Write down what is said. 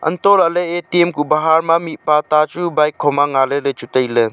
hantoh lah ley A T M ku bahar ma mihpa ta chu bike kho ma nga ley ley chu tai ley.